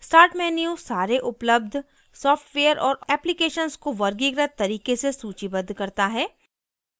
start menu सारे उपलब्ध software और applications को वर्गीकृत तरीके से सूचीबद्ध करता है